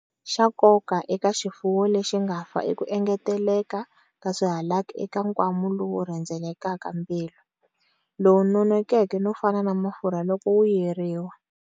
Xa nkoka eka xifuwo lexi nga fa i ku engeteleka ka swihalaki eka nkwama lowu rhendzelaka mbilu, lowu nonekeke no fana na mafurha loko wu yeriwa.